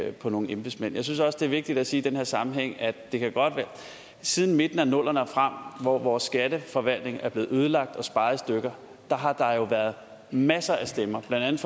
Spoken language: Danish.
af på nogle embedsmænd jeg synes også det er vigtigt at sige i den her sammenhæng at siden midten af nullerne og frem hvor vores skatteforvaltning er blevet ødelagt og sparet i stykker har der jo været masser af stemmer blandt